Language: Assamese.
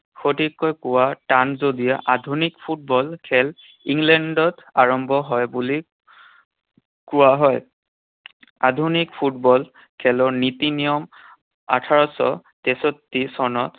সঠিককৈ কোৱা টান যদিও আধুনিক ফুটবল খেল ইংলেণ্ডত আৰম্ভ হয় বুলি কোৱা হয়। আধুনিক ফুটবল খেলৰ নীতি নিয়ম আঠাৰশ তেষষ্ঠী চনত